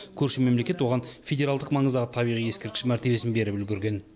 көрші мемлекет оған федералдық маңыздағы табиғи ескерткіш мәртебесін беріп үлгірген